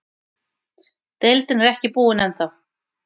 Deildin er ekki búinn ennþá.